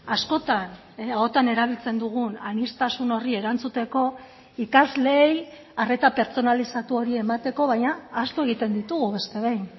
askotan ahotan erabiltzen dugun aniztasun horri erantzuteko ikasleei arreta pertsonalizatu hori emateko baina ahaztu egiten ditugu beste behin